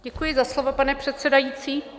Děkuji za slovo, pane předsedající.